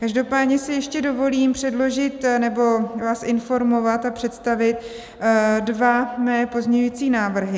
Každopádně si ještě dovolím předložit, nebo vás informovat a představit dva mé pozměňující návrhy.